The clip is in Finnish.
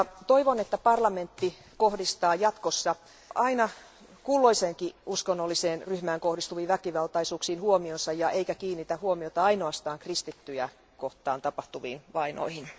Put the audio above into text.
Toivon, että parlamentti kohdistaa jatkossa aina kulloiseenkin uskonnolliseen ryhmään kohdistuviin väkivaltaisuuksiin huomionsa, eikä kiinnitä huomiota ainoastaan kristittyjä kohtaan tapahtuviin vainoihin.